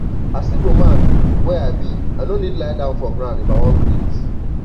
as igbo man wey i be i no need lie down for ground if i wan greet